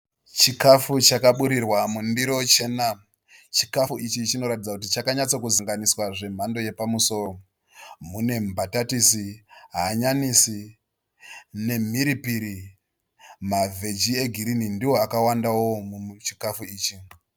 Chikafu chakaburirwa mundiro chena. Chikafu ichi chinoratidza kuti chakanyatso kuzanganiswa zvemhando yepamusoro. Mune mbatatisi, hanyanisi nemhiripiri, mavheji egirinhi ndiwo akawandawo muchikafu ichi